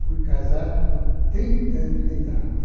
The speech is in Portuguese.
Fui casar com trinta anos de idade.